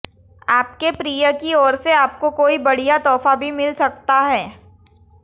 आपके प्रिय की ओर से आपको कोई बढ़िया तोहफा भी मिल सकता है